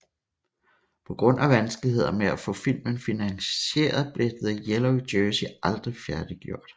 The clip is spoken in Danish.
På grund af vanskeligheder med at få filmen finansieret blev The Yellow Jersey aldrig færdiggjort